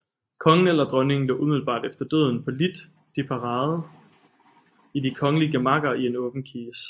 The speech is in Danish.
Kongen eller dronningen lå umiddelbart efter døden på lit de parade i de kongelige gemakker i en åben kiste